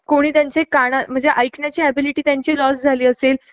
किव्हा काही लोकांना मशीन लावण्याची गरज भासली असेल